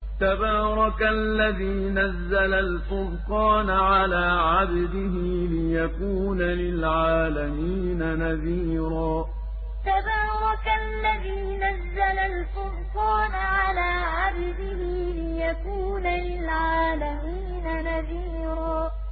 تَبَارَكَ الَّذِي نَزَّلَ الْفُرْقَانَ عَلَىٰ عَبْدِهِ لِيَكُونَ لِلْعَالَمِينَ نَذِيرًا تَبَارَكَ الَّذِي نَزَّلَ الْفُرْقَانَ عَلَىٰ عَبْدِهِ لِيَكُونَ لِلْعَالَمِينَ نَذِيرًا